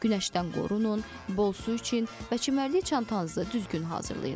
Günəşdən qorunun, bol su için və çimərlik çantanızı düzgün hazırlayın.